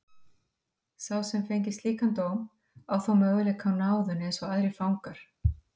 Sá sem fengi slíkan dóm á þó möguleika á náðun eins og aðrir fangar.